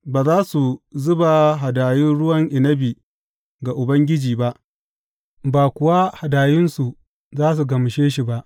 Ba za su zuba hadayun ruwan inabi ga Ubangiji ba, ba kuwa hadayunsu za su gamshe shi ba.